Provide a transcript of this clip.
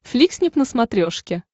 фликснип на смотрешке